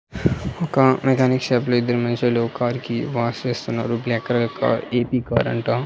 ఒక mechanic shop లో ఇద్దరూ మనుషులు కార్ కి వాష్ చేస్తున్నారు black colour car AC car అంట.